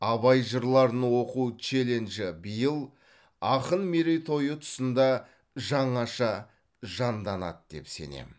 абай жырларын оқу челленджі биыл ақын мерейтойы тұсында жаңаша жанданады деп сенемін